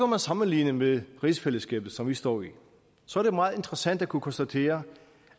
man sammenligne med rigsfællesskabet som vi står i og så er det meget interessant at kunne konstatere